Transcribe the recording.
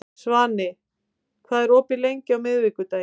Svani, hvað er opið lengi á miðvikudaginn?